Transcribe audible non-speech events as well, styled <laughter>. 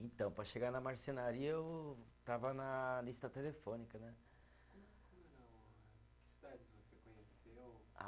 Então, para chegar na marcenaria, eu estava na lista telefônica né. <unintelligible> cidades você conheceu <unintelligible>